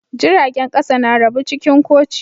Jiragen kasa na rabu cikin koci.